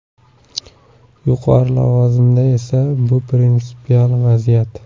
Yuqori lavozimda emas, bu prinsipial vaziyat.